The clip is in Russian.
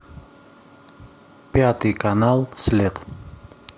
пятый канал след